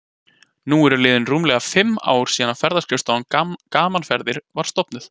Nú eru liðin rúmlega fimm ár síðan að Ferðaskrifstofan Gaman Ferðir var stofnuð.